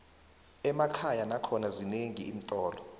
emakhaya nakhona zinenqi iintolo